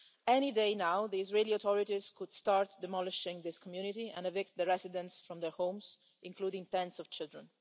Any day now, the Israeli authorities could start demolishing this community and evict the residents from their homes, including parents and children.